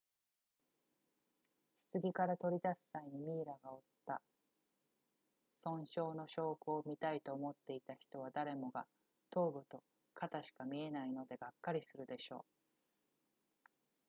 棺から取り出す際にミイラが負った損傷の証拠を見たいと思っていた人は誰もが頭部と肩しか見えないのでがっかりするでしょう